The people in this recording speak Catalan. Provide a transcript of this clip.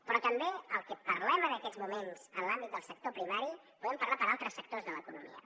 però també del que parlem en aquests moments en l’àmbit del sector primari en podem parlar per a altres sectors de l’economia